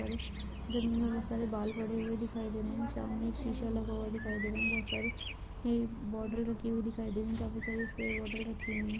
अरे जमीन में बहोत सारे बाल पड़े हुए दिखाई दे रहे हैं। सामने एक शीशा लगा हुआ दिखाई दे रहा है। बहोत सारे ये बॉटल रखी हुई दिखाई दे रही हैं। काफी सारे स्प्रे बॉटल रखी हुई हैं।